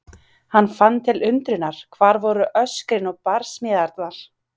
Hann fann til undrunar- hvar voru öskrin og barsmíðarnar?